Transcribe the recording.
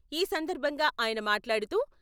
ఈసందర్భంగా ఆయన మాట్లాడుతూ..